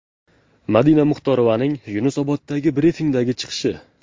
Madina Muxtorovaning Yunusoboddagi brifingdagi chiqishi.